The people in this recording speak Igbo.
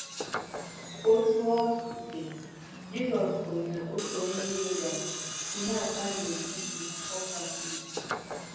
Otú ọ dị, Jizọs kwuru na otu onye iro bịara “kụnye ata n’etiti ọka wit.”